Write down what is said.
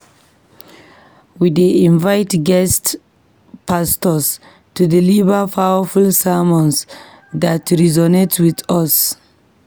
We dey invite guest pastors to deliver powerful sermons that resonate with us.